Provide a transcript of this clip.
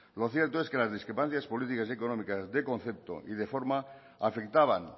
lo cierto es que las discrepancias políticas y económicas de concepto y de forma afectaban